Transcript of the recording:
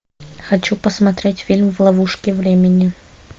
хочу посмотреть фильм в ловушке времени